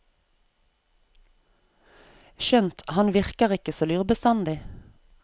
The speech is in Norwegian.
Skjønt han virker ikke så lur bestandig.